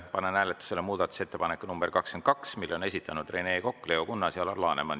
Panen hääletusele muudatusettepaneku nr 22, mille on esitanud Rene Kokk, Leo Kunnas ja Alar Laneman.